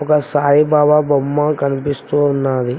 ఒక సాయిబాబా బొమ్మ కనిపిస్తూ ఉన్నాది.